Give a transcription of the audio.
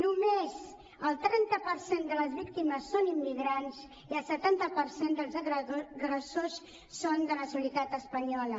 només el trenta per cent de les víctimes són immigrants i el setanta per cent dels agressors són de nacionalitat espanyola